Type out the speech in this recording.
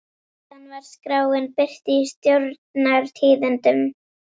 Síðan var skráin birt í Stjórnar- tíðindum.